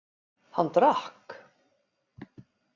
Hann drakk.